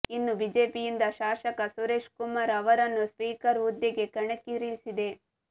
ಇನ್ನು ಬಿಜೆಪಿಯಿಂದ ಶಾಸಕ ಸುರೇಶ್ ಕುಮಾರ್ ಅವರನ್ನು ಸ್ಪೀಕರ್ ಹುದ್ದೆಗೆ ಕಣಕ್ಕಿಳಿಸಿದೆ